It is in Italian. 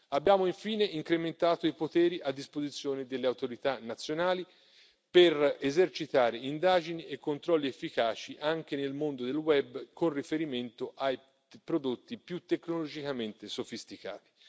Abbiamo infine incrementato i poteri a disposizione delle autorità nazionali, per esercitare indagini e controlli efficaci anche nel mondo del web, con riferimento ai prodotti più tecnologicamente sofisticati.